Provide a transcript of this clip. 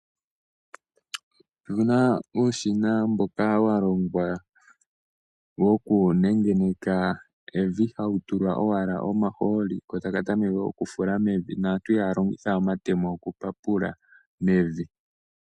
Opuna uushina mboka wa longwa woku nengeneka evi. Hawu tulwa owala omahooli, ko taka tameke okufula mevi, naantu ihaya longitha we omatemo oku papula mevi.